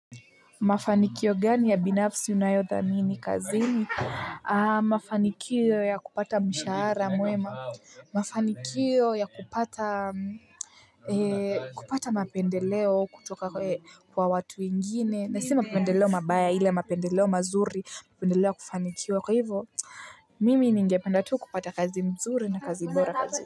Mafanikio gani ya binafsi unayothamini kazini? Mafanikio ya kupata mshahara mwema. Mafanikio ya kupata mapendeleo kutoka kwa watu wengine na si mapendeleo mabaya ila mapendeleo mazuri mapendeleo ya kufanikiwa kwa hivyo. Mimi ningependa tu kupata kazi nzuri na kazi bora kazini.